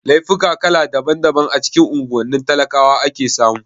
Laifuka kala daban daban a cikin unguwannin talakawa ake samu